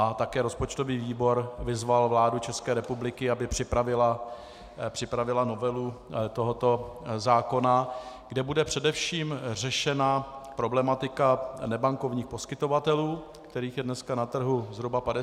A také rozpočtový výbor vyzval vládu České republiky, aby připravila novelu tohoto zákona, kde bude především řešena problematika nebankovních poskytovatelů, kterých je dneska na trhu zhruba 50 tisíc.